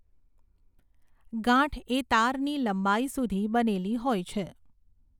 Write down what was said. ગાંઠ એ તારની લંબાઈ સુધી બનેલી હોય છે